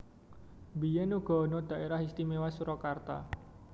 Biyèn uga ana Dhaérah Istiméwa Surakarta